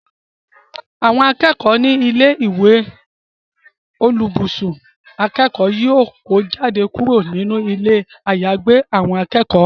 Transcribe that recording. Àwọn akẹ́kọ̀ọ́ ní ilé ìwé oníbùsùn akẹ́kọ̀ọ́ yóò kó jáde kúrò nínú ilé àyàgbé àwọn akẹ́kọ̀ọ́